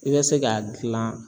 I bɛ se k'a gilan.